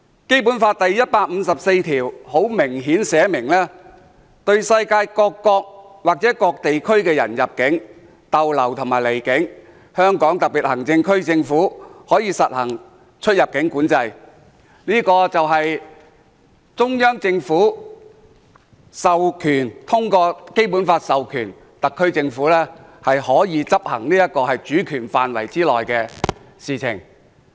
《基本法》第一百五十四條寫明，對世界各國或各地區的人入境、逗留和離境，香港特別行政區政府可以實行出入境管制，這就是中央政府通過《基本法》授權特區政府執行其主權範圍內的事情。